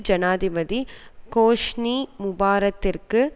ஜனாதிபதி ஹோஸ்னி முபாரக்கிற்கு